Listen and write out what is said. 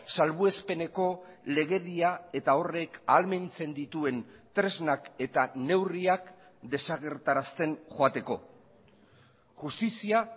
salbuespeneko legedia eta horrek ahalmentzen dituen tresnak eta neurriak desagertarazten joateko justizia